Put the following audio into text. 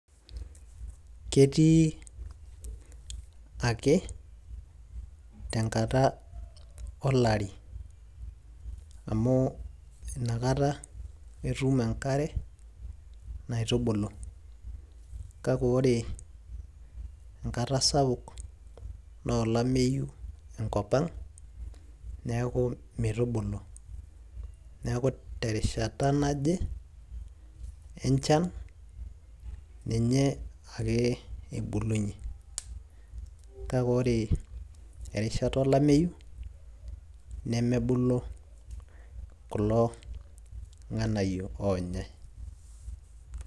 ketii ake tenkata olari amu inakata etum enkare naitubulu, kake ore enkata sapuk naa olameyu enkop ang neeku meitubulu. teeku terishata naje enchan ninye ake ebulunye. kake ore erishata olameyu nemebulu kulo ng'anayio oonyae.